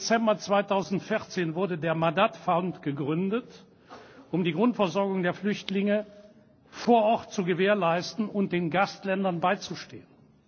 Bereits im Dezember 2014 wurde der Madad Fund gegründet, um die Grundversorgung der Flüchtlinge vor Ort zu gewährleisten und den Gastländern beizustehen.